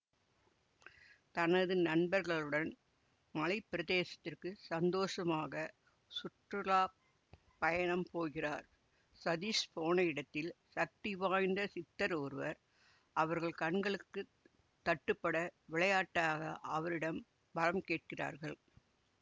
தனது நண்பர்களுடன் மலைப்பிரதேசத்திற்கு சந்தோசமாக சுற்றுலாப்பயணம் போகிறார் சதீஷ் போன இடத்தில் சக்தி வாய்ந்த சித்தர் ஒருவர் அவர்கள் கண்களுக்கு தட்டுப்பட விளையாட்டாக அவரிடம் வரம் கேட்கிறார்கள்